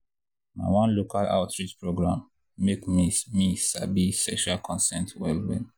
na one local outreach program make me me sabi sexual consent well well.